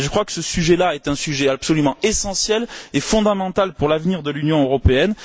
Et je crois que ce sujet là est un sujet absolument essentiel et fondamental pour l'avenir de l'Union européenne.